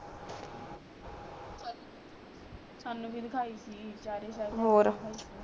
ਸਾਨੂੰ ਭੀ ਦਿਖਾਈ ਸੀ ਚਾਰੇ ਸਾਹਿਬਜ਼ਾਦੇ ਔਰ ਦੀ ਦਿਖਾਈ ਸੀ